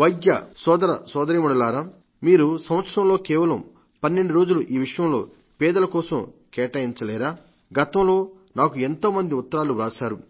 వైద్య సోదర సోదరీమణులారా మీరు సంవత్సరంలో కేవలం 12 రోజులు ఈ విషయంలో పేదల కోసం కేటాయించలేరా గతంలో నాకు ఎంతోమంది ఉత్తరాలు వ్రాశారు